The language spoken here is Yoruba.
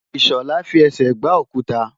Ìṣọ̀lá fi ẹsẹ̀ gbá òkuta.